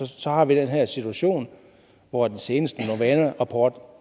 så har vi den her situation hvor den seneste novana rapport